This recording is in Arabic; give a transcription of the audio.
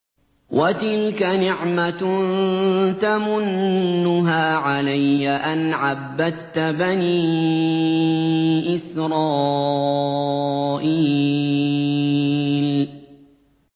وَتِلْكَ نِعْمَةٌ تَمُنُّهَا عَلَيَّ أَنْ عَبَّدتَّ بَنِي إِسْرَائِيلَ